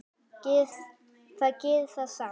Það gerir það samt.